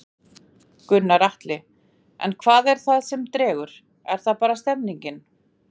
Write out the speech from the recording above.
Gunnar Atli: En hvað er það sem dregur, er það bara stemningin?